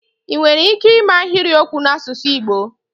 ị nwere ike ịme ahịrịokwu n'asụsụ Igbo?